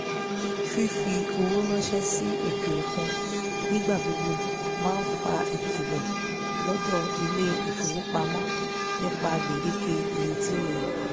fífi owó ránsẹ́ sí òkè òkun nígbà gbogbo máa fa ìkìlọ̀ lọ́dọ̀ ilé ìfowópamọ́ nípa gbèdéke iye tí ó yẹ